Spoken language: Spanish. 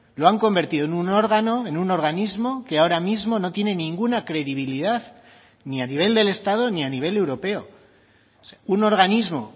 lo han convertido en un órgano en un organismo que ahora mismo no tiene ninguna credibilidad ni a nivel del estado ni a nivel europeo un organismo